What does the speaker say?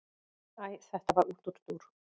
Æ þetta var útúrdúr.